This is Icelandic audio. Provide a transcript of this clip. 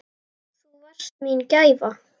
Þú varst mín gæfa.